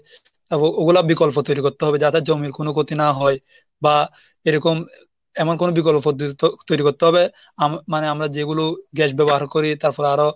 ওগুলা বিকল্প তৈরি করতে হবে যাদের জমির কোনো ক্ষতি না হয় বা এরকম এমন কোনো বিকল্প পদ্ধতি তৈ~ তৈরি করতে হবে আম~ মানে আমরা যেগুলো gas ব্যবহার করি তারপর আরো